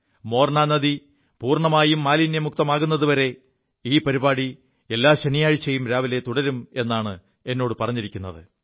മോർനാ നദി പൂർണ്ണമായും മാലിന്യമുക്തമാകുതുവരെ ഈ പരിപാടി എല്ലാ ശനിയാഴ്ചയും രാവിലെ തുടരും എാണ് എാേടു പറഞ്ഞിരിക്കുത്